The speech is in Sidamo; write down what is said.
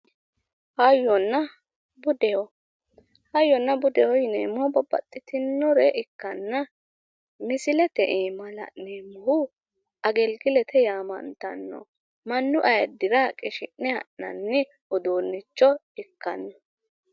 Hayyonna budeho hayyonna budeho yineemmo babbaxxitinore ikkanna misilete aana la'neemmohu agilgilete yiananniha ikkanno mannu ayiiddira qishi'ne ha'nanni uduunnicho ikkanno